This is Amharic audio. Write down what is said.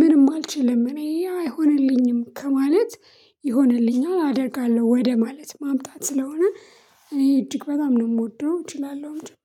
ምንም አልችልም እኔ ያ አይሆንልኝም ከማለት ይሆንልኛል አደርጋለሁ ወደ ማለት ማምጣት ስለሆነ። እኔ እጅግ በጣም ነው የምወደው እችላለሁ እንጂ